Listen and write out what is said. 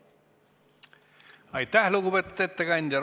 Aitäh, lugupeetud ettekandja!